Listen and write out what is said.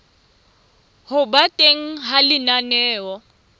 ho ba teng ha lenaneo